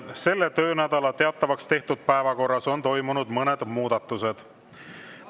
Selle töönädala teatavaks tehtud päevakorras on toimunud mõned muudatused.